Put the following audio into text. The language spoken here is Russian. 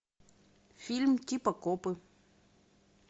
фильм типа копы